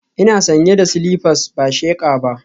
Ina sanye da silifas ba sheqa ba